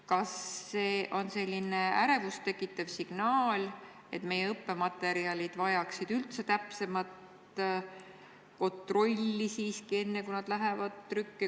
Kas see on ärevust tekitav signaal, et meie õppematerjalid vajaksid täpsemat kontrolli, enne kui need trükki lähevad?